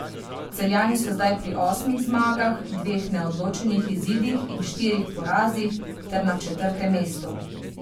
Celjani so zdaj pri osmih zmagah, dveh neodločenih izidih in štirih porazih ter na četrtem mestu.